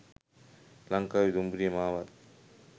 ලංකාවේ දුම්රිය මාවත්